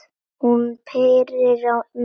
Hún pírir á mig augun.